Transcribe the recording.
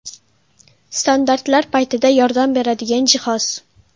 Standartlar paytida yordam beradigan jihoz.